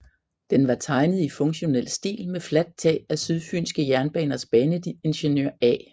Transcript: Den var tegnet i funktionel stil med fladt tag af Sydfyenske Jernbaners baneingeniør A